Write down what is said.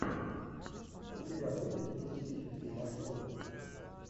у тебя будет туристические маршруты